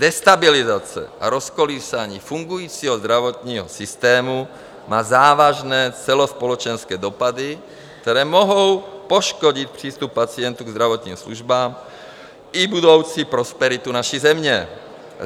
Destabilizace a rozkolísání fungujícího zdravotního systému má závažné celospolečenské dopady, které mohou poškodit přístup pacientů k zdravotním službám i budoucí prosperitu naší země.